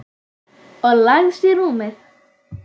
Og lagðist í rúmið.